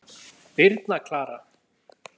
Birna Klara.